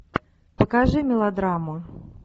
покажи мелодраму